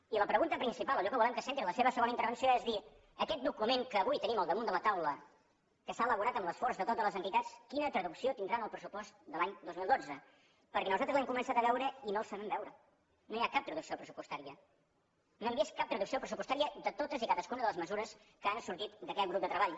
i la pregunta principal allò que volem que centri la seva segona intervenció és dir aquest document que avui tenim al damunt de la taula que s’ha elaborat amb l’esforç de totes les entitats quina traducció tindrà en el pressupost de l’any dos mil dotze perquè nosaltres l’hem començat a veure i no el sabem veure no hi ha cap traducció pressupostària no hem vist cap traducció pressupostària de totes i cadascuna de les mesures que han sortit d’aquest grup de treball